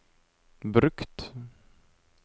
brukt